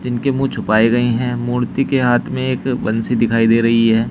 इनके मुंह छुपाए गए हैं मूर्ति के हाथ में एक बंसी दिखाई दे रही है।